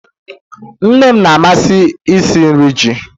Nne m na-amasị isi nri ji